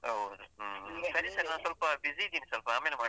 ಹೌದು ಹ್ಮ್ ಸರಿ ಸರ್ ನಾನ್ ಸ್ವಲ್ಪ busy ಇದ್ದೇನೆ, ಸ್ವಲ್ಪ ಆಮೇಲ್ ಮಾಡ್ಲಾ?